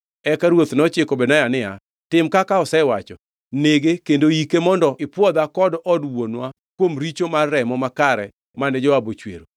Eka ruoth nochiko Benaya niya, “Tim kaka osewacho. Nege kendo yike mondo ipwodha kod od wuonwa kuom richo mar remo makare mane Joab ochwero.